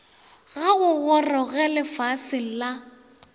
ga go goroge lefaseng la